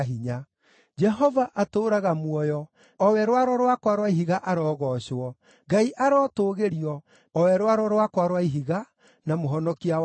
“Jehova atũũraga muoyo! O we Rwaro rwakwa rwa Ihiga arogoocwo! Ngai arotũgĩrio, o we Rwaro rwakwa rwa Ihiga, na Mũhonokia wakwa!